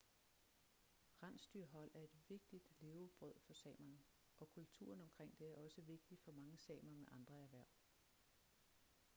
rensdyrhold er et vigtigt levebrød for samerne og kulturen omkring det er også vigtig for mange samer med andre erhverv